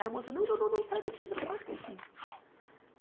Aí, a moça, não, não, não, não sai daqui, você não pode ficar aqui.